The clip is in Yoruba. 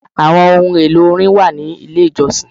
Àwọn ohun èlò orin wà nílé ìjọsìn.